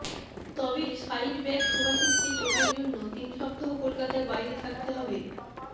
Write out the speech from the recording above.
তবে সাইডব্যাক শুভাশিসকে চোটের জন্য তিন সপ্তাহ কলকাতার বাইরে থাকতে হবে